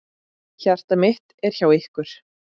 Hjarta mitt er hjá ykkur.